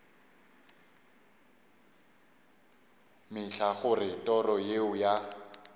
mehla gore toro yeo ya